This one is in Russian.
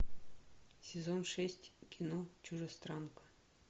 сезон шесть кино чужестранка